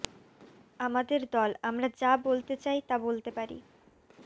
আমাদের দল আমরা যা বলতে চাই তা বলতে পারি